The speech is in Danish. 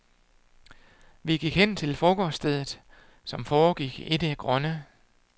Vi gik hen til frokoststedet, som foregik i det grønne.